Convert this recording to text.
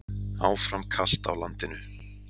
Áfram kalt á landinu